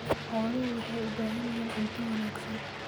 Xooluhu waxay u baahan yihiin cunto wanaagsan.